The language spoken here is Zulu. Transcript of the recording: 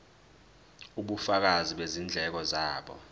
ubufakazi bezindleko zabo